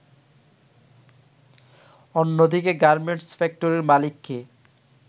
অন্যদিকে গার্মেন্টস ফ্যাক্টরির মালিককে